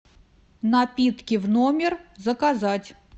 напитки в номер заказать